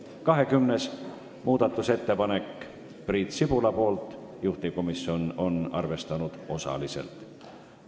20. muudatusettepanek on Priit Sibulalt, juhtivkomisjon on arvestanud osaliselt.